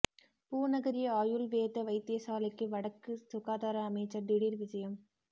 பூநகரி ஆயுள் வேத வைத்தியசாலைக்கு வடக்கு சுகாதார அமைச்சர் திடீர் விஜயம்